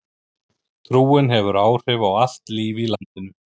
Trúin hefur áhrif á allt líf í landinu.